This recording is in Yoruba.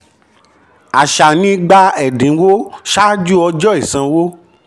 àṣà ni gba ẹ̀dínwó um ṣáájú ọjọ́ ìsanwó.